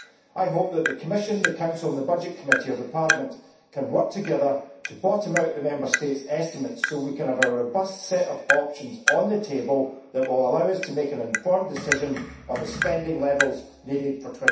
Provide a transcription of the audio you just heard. I hope that the Commission, the Council and the Parliament's Committee on Budgets can work together to bottom out the Member States' estimates so that we can have a robust set of options on the table which will allow us to make an informed decision on the spending levels needed for